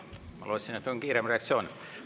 Ma lootsin, et on kiirem reaktsioon.